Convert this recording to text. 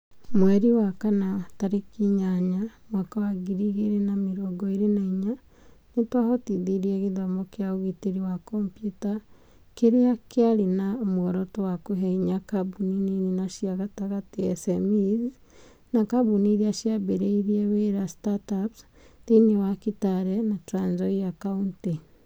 Mweri wa kana 8, 2024, nĩ twahotithirie gĩthomo kĩa ũgitĩri wa kompiuta kĩrĩa kĩarĩ na muoroto wa kũhe hinya kambuni nini na cia gatagatĩ (SMEs) na kambuni iria ciambĩrĩirie wĩra (startups) thĩiniĩ wa Kitale, Trans-Nzoia County.